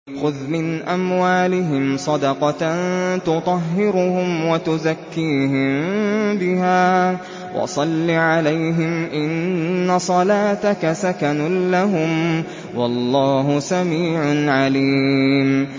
خُذْ مِنْ أَمْوَالِهِمْ صَدَقَةً تُطَهِّرُهُمْ وَتُزَكِّيهِم بِهَا وَصَلِّ عَلَيْهِمْ ۖ إِنَّ صَلَاتَكَ سَكَنٌ لَّهُمْ ۗ وَاللَّهُ سَمِيعٌ عَلِيمٌ